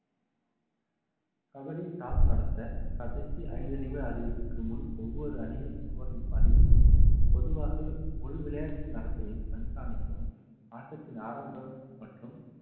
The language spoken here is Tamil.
கபடி toss நடத்த கடைசி ஐந்து நிமிட அறிவிப்புக்கு முன் ஒவ்வொரு அணியின் score ஐயும் அறிவிப்போம் பொதுவாக முழு விளையாட்டின் நடத்தையும் கண்காணிக்கவும் ஆட்டத்தின் ஆரம்பம் மற்றும்